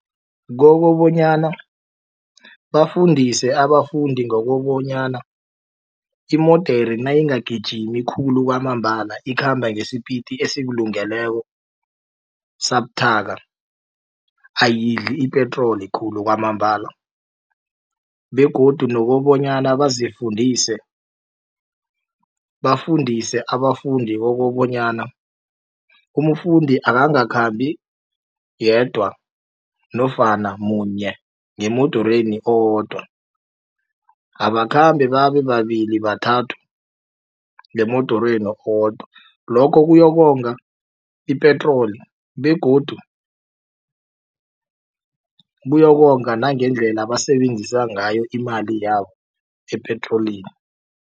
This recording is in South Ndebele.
Kokobanyana bafundise abafundi ngokobanyana imodere nayingagijimi khulu kwamambala ikhamba ngesipiti esikulungeleko sabuthaka ayidli ipetroli khulu kwamambala begodu nokobanyana bazifundise bafundise abafundi kokobanyana umfundi akangakhambi yedwa nofana munye ngemodorweni owodwa abakhambe babe babili bathathu ngemodorweni owodwa lokho kuyokonga ipetroli begodu kuyokonga nangendlela basebenzisa ngayo imali yabo epetrolini.